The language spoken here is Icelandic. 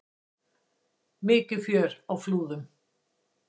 Mikið fjör á Flúðum